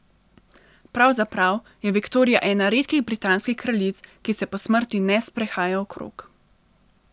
Pravzaprav je Viktorija ena redkih britanskih kraljic, ki se po smrti ne sprehaja okrog.